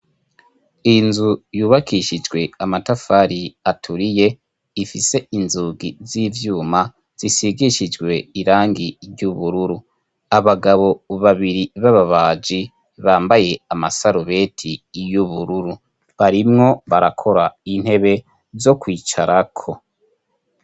Inzu yubakishijwe amatafari aturiye ifise inzugi z'ivyuma zisigishijwe irangi ry'ubururu abagabo babiri b'ababaji bambaye amasarubeti y'ubururu barimwo barakora intebe zo kwicara ko.